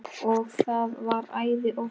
Og það var æði oft.